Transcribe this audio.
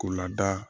K'u lada